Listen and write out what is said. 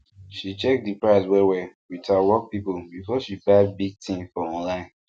she check the price wellwell with her work people before she buy big thing for online